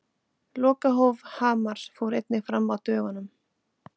Lokahóf Hamars fór einnig fram á dögunum.